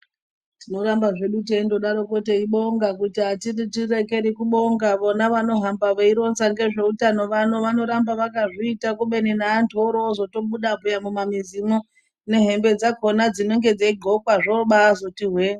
Tinorambazve teindodaro kubonga ngekuti andiregeri kubonga vona vanoramba veironza ngezveutano vano vakazviita kubeni neantu aniramba orozoto buda mumamwizimwo nehembe dzinoghlokwa